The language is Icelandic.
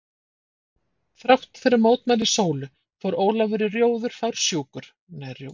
Þrátt fyrir mótmæli Sólu fór Ólafur í róður fársjúkur, einn haustmorgun.